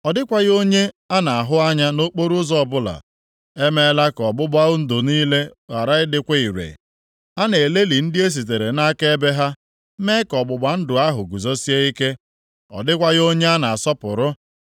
Ọ dịkwaghị onye a na-ahụ anya nʼokporoụzọ ọbụla. E meela ka ọgbụgba ndụ niile ghara ịdịkwa ire. A na-elelị ndị e sitere nʼakaebe ha mee ka ọgbụgba ndụ ahụ guzosie ike. Ọ dịkwaghị onye a na-asọpụrụ.